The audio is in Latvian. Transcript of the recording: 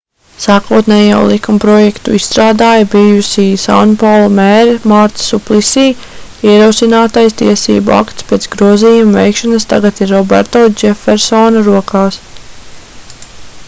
sākotnējo likumprojektu izstrādāja bijusī sanpaulu mēre marta suplisī ierosinātais tiesību akts pēc grozījumu veikšanas tagad ir roberto džefersona rokās